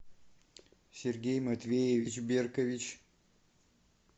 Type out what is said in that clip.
сергей матвеевич беркович